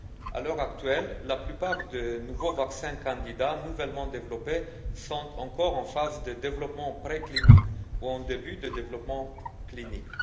À l'heure actuelle, la plupart des nouveaux vaccins candidats nouvellement développés sont encore en phase de développement préclinique ou en début de développement clinique.